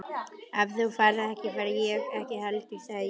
Ef þú ferð ekki, fer ég ekki heldur sagði ég.